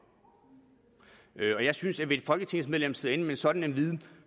og jeg synes at hvis et folketingsmedlem sidder inde med en sådan viden